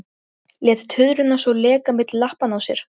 Lét tuðruna svo leka milli lappanna á sér!